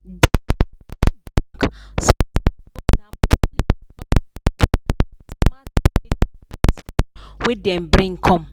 the community bank success na mostly because of the smart village savings plan wey dem bring come.